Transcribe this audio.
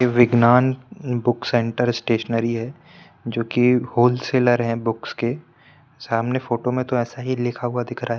ये Vignan book centre stationery है जोकि होलसेलर है बुक्स के सामने फोटो में तो ऐसा ही लिखा हुआ दिख रहा--